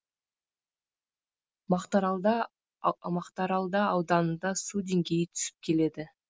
мақтаралда мақтаралда ауданында су деңгейі түсіп келеді